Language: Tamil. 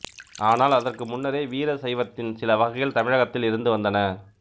ஆனால் அதற்கு முன்னரே வீரசைவத்தின் சில வகைகள் தமிழகத்தில் இருந்து வந்தன